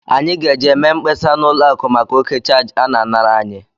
Anyị ga-eje mee mkpesa n' ụlọ akụ maka òkè chárge ana- anara anyị.